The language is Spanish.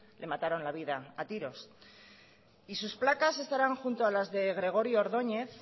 le mataron la vida a tiros y sus placas estarán junto a las de gregorio ordóñez